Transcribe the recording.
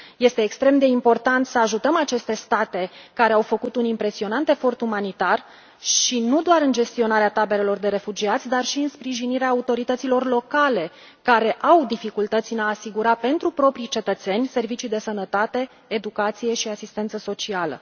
Este extrem de important să ajutăm aceste state, care au făcut un impresionant efort umanitar și nu doar în gestionarea taberelor de refugiați, dar și în sprijinirea autorităților locale, care au dificultăți în a asigura pentru propriii cetățeni servicii de sănătate, educație și asistență socială.